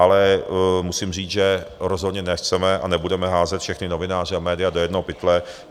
Ale musím říct, že rozhodně nechceme a nebudeme házet všechny novináře a média do jednoho pytle.